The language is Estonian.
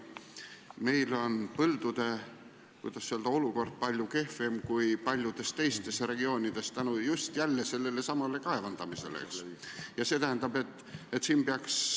Meil on põldude olukord palju kehvem kui paljudes teistes regioonides, just jälle sellesama kaevandamise tõttu.